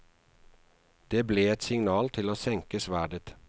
Det ble et signal til å senke sverdet.